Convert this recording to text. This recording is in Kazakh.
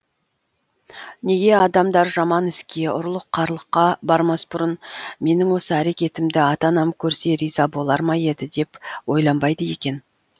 неге адамдар жаман іске ұрлық қарлыққа бармас бұрын менің осы әрекетімді ата анам көрсе риза болар ма еді деп ойланбайды екен